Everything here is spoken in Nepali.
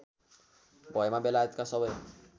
भएमा बेलायतका सबै